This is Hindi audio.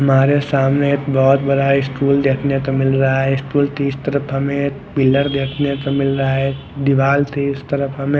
हमारे सामने बहुत बड़ा स्टूल देखने को मिल रहा है स्टूल की इस तरफ हमें पिलर देखने को मिल रहा है दिवार के इस तरफ हमें--